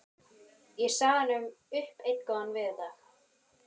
Ég sagði honum upp einn góðan veðurdag á